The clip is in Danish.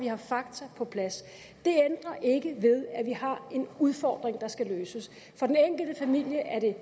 have fakta på plads det ændrer ikke ved at vi har en udfordring der skal løses for den enkelte familie er det